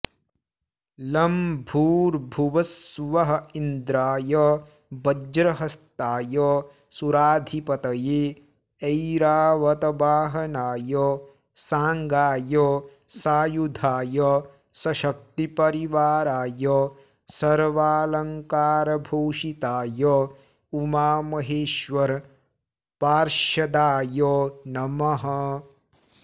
लं भूर्भुवस्सुवः इन्द्राय वज्रहस्ताय सुराधिपतये ऐरावतवाहनाय सांगाय सायुधाय सशक्ति परिवाराय सर्वालंकारभूषिताय उमामहेश्वर पार्षदाय नमः